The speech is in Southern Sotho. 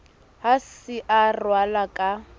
ha se a ralwa ka